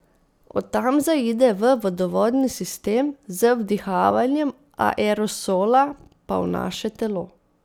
Od tam zaide v vodovodni sistem, z vdihavanjem aerosola pa v naše telo.